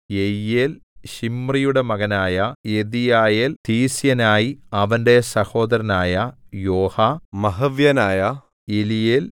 യെയീയേൽ ശിമ്രിയുടെ മകനായ യെദീയയേൽ തീസ്യനായി അവന്റെ സഹോദരനായ യോഹാ മഹവ്യനായ എലീയേൽ